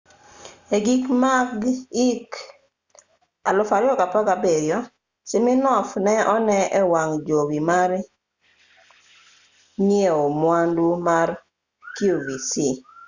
e giko mag hik 2017 siminoff ne one e wang' jowi mar nyiewo mwandu mar qvc